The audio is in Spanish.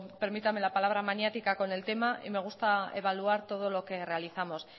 permítame la palabra maniática con el tema y me gusta evaluar todo lo que realizamos